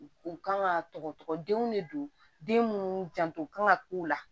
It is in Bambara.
U kan ka tɔgɔ denw de don den munnu janto kan ka k'u la